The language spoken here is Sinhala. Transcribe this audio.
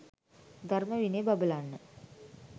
ධර්ම විනය බබලන්න